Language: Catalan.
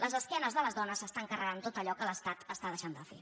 les esquenes de les dones s’estan carregant tot allò que l’estat està deixant de fer